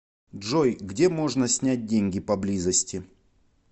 джой где можно снять деньги поблизости